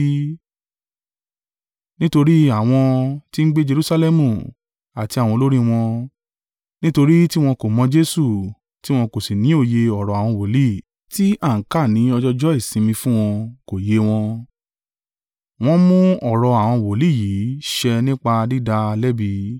Nítorí àwọn tí ń gbé Jerusalẹmu, àti àwọn olórí wọn, nítorí tiwọn kò mọ̀ Jesu, tí wọn kò sì ní òye ọ̀rọ̀ àwọn wòlíì, tí a ń kà ní ọjọọjọ́ ìsinmi fún wọn, kò yé wọn, wọ́n mú ọ̀rọ̀ àwọn wòlíì yìí ṣẹ nípa dídá a lẹ́bi.